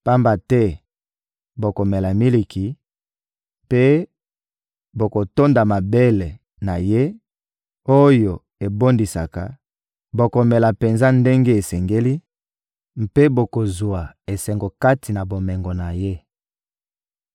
Pamba te bokomela miliki mpe bokotonda mabele na ye, oyo ebondisaka; bokomela penza ndenge esengeli mpe bokozwa esengo kati na bomengo na ye.»